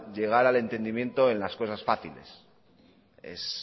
llegar al entendimiento en las cosas fáciles es